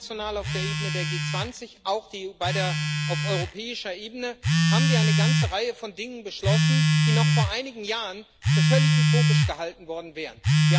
International, auf der Ebene der G 20, auch auf europäischer Ebene haben wir eine ganze Reihe von Dingen beschlossen, die noch vor einigen Jahren für völlig utopisch gehalten worden wären.